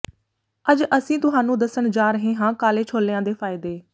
ਅੱਜ ਅਸੀਂ ਤੁਹਾਨੂੰ ਦੱਸਣ ਜਾ ਰਹੇ ਹਾਂ ਕਾਲੇ ਛੋਲਿਆਂ ਦੇ ਫਾਇਦੇ